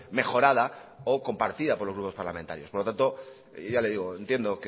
mejorada o compartida por los grupos parlamentarios por lo tanto yo ya le digo